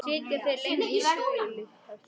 Sitja þeir lengi þögulir eftir.